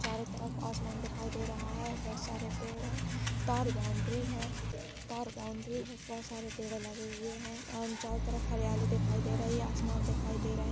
चारो तरफ आसमान दिखाई दे रहा है बहुत सारे पेड़ है तार बाउंड्री है तार बाउंड्री है बहुत सारे पेड़े लगे हुए है अन उन चारो तरफ हरियाली दिखाई दे रही आसमान दिखाई दे रहे --